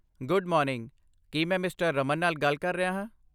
Good morning, ਕੀ ਮੈਂ mister Raman ਨਾਲ ਗੱਲ ਕਰ ਰਿਹਾ ਹਾਂ?